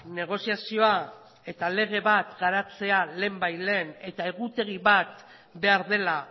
negoziazioa eta lege bat garatzea lehen bait lehen eta egutegi bat behar dela